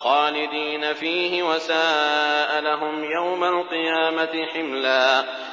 خَالِدِينَ فِيهِ ۖ وَسَاءَ لَهُمْ يَوْمَ الْقِيَامَةِ حِمْلًا